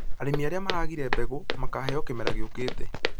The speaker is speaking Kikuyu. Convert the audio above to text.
Arĩmi arĩa maragire mbegũ makaheo kĩmera gĩũkĩte